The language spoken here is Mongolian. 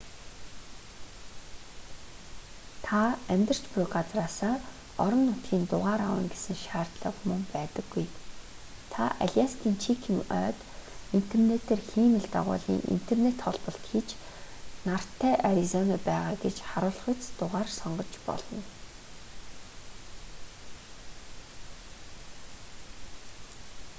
та амьдарч буй газраасаа орон нутгийн дугаар авна гэсэн шаардлага мөн байдаггүй та аляскийн чикен ойд интернетээр хиймэл дагуулын интернет холболт хийж нартай аризонад байгаа гэж харуулахуйц дугаар сонгож болно